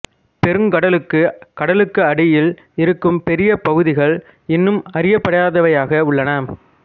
பெருங்கடலுக்கு கடலுக்கு அடியில் இருக்கும் பெரிய பகுதிகள் இன்னும் அறியப்படாதவையாக உள்ளன